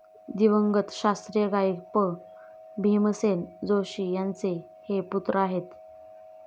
दिवंगत शास्त्रीय गायक पं. भीमसेन जोशी यांचे हे पुत्र आहेत.